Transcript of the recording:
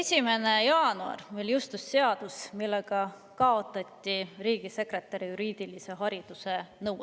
1. jaanuaril jõustus meil seadus, millega kaotati riigisekretäri juriidilise hariduse nõue.